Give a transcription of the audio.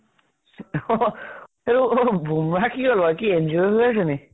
বুম্ৰাহ কি হল বাৰু? injured হৈ আছে নেকি?